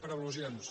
per al·lusions